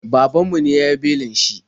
Babanmu ne ya yi belin shi.